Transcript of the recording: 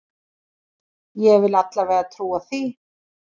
Ég vil alla vega trúa því.